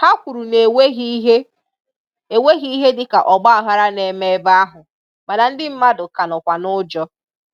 Ha kwuru na enweghị ihe enweghị ihe dịka ọgbaaghara na-eme ebe ahụ mana ndị mmadụ ka nọkwa n'ụjọ.